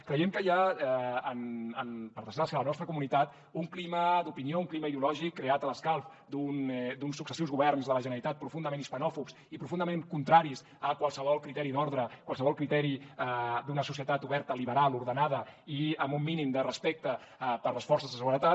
creiem que hi ha per desgràcia a la nostra comunitat un clima d’opinió un clima ideològic creat a l’escalf d’uns successius governs de la generalitat profundament hispanòfobs i profundament contraris a qualsevol criteri d’ordre a qualsevol criteri d’una societat oberta liberal ordenada i amb un mínim de respecte per les forces de seguretat